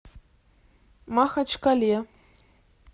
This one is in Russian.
махачкале